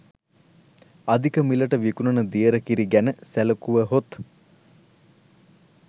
අධික මිලට විකුණන දියර කිරි ගැන සැලකුවහොත්